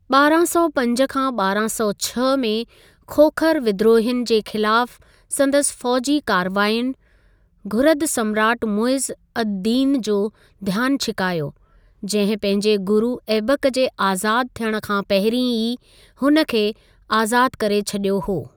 ॿारहां सौ पंज खां ॿारहां सौ छह में खोखर विद्रोहियुनि जे ख़िलाफ़ संदसि फौजी कार्रवाइयुनि, घुरिद सम्राट मुइज़ अद-दीन जो ध्यान छिकायो, जहिं पंहिजे गुरु ऐबक जे आज़ाद थियण खां पहिरीं ई हुन खे आज़ाद करे छॾियो हो।